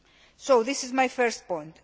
So this is my first point.